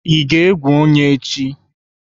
Ị ga-egwu onye echi?